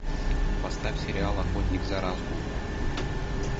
поставь сериал охотник за разумом